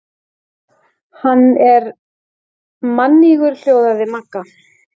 Hann er mannýgur hljóðaði Magga.